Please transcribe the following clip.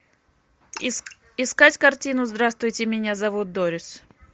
искать картину здравствуйте меня зовут дорис